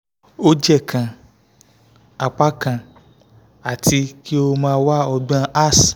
o je kan apakan ati ki o mo wà ọgbọn